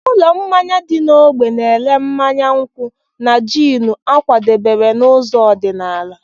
Ụlọ mmanya dị n'ógbè na-ere mmanya nkwụ́ na jiini a kwadebere n'ụzọ ọdịnala.